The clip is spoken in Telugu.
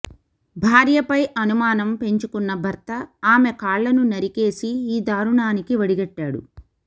భార్యపై అనుమానం పెంచుకున్న భర్త ఆమె కాళ్లను నరికేసి ఈ దారుణానికి ఒడిగట్టాడు